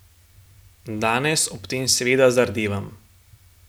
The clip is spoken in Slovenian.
Danes ob tem seveda zardevam.